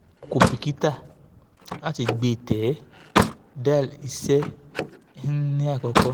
o ko bikita lati gbe te dal iṣẹ een ni akoko